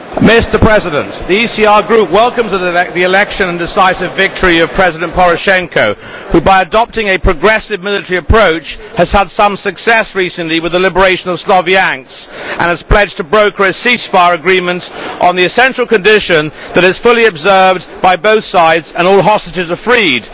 Mr President, the ECR Group welcomes the election and decisive victory of President Poroshenko, who by adopting a progressive military approach has had some success recently, with the liberation of Sloviansk, and who has pledged to broker a ceasefire agreement on the essential condition that this is fully observed by both sides and all hostages are freed.